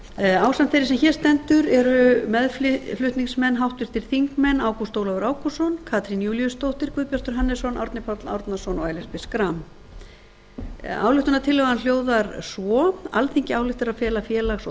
ásamt þeirri sem hér stendur eru meðflutningsmenn háttvirtir þingmenn ágúst ólafur ágústsson katrín júlíusdóttir guðbjartur hannesson árni páll árnason og ellert b schram ályktunartillagan hljóðar svo alþingi ályktar að fela félags og